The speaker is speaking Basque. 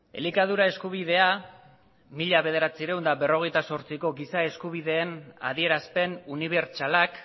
elikadura eskubidea mila bederatziehun eta berrogeita zortziko giza eskubideen adierazpen unibertsalak